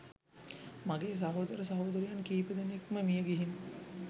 මගේ සහෝදර සහෝදරියන් කීප දෙනෙක්ම මියගිහින්.